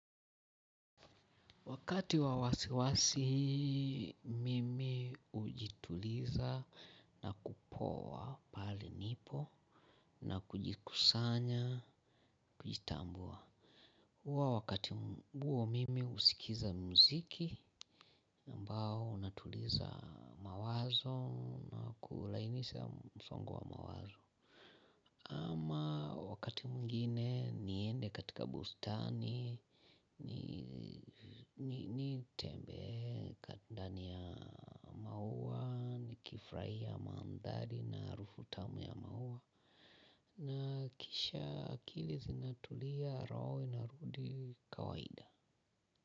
Wakati wa wasiwasi, mimi hujituliza na kupowa pahali nipo na kujikusanya, kujitambua. Huwa wakati huo mimi husikiza muziki ambao unatuliza mawazo na kulainisisha msongo wa mawazo. Ama wakati mwingine niende katika bustani, nitembee ndani ya maua, nikifurahia mandhari na harufu tamu ya maua. Na kisha akili zinatulia roho inarudi kawaida.